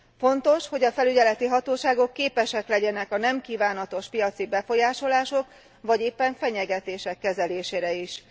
Fontos, hogy a felügyeleti hatóságok képesek legyenek a nem kívánatos piaci befolyásolások vagy éppen fenyegetések kezelésére is.